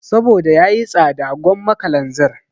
Saboda yayi tsada gwamma kalanzir